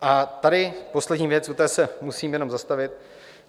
A tady poslední věc, u té se musím jenom zastavit.